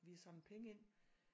Vi har samlet penge ind